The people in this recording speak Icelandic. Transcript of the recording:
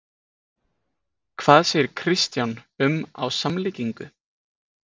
Hvað segir Kristján um á samlíkingu?